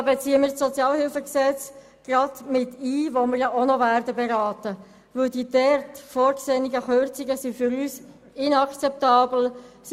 Wir beziehen das noch zu beratende Sozialhilfegesetz (SHG) mit ein, weil die dort vorgesehenen Kürzungen für uns inakzeptabel sind.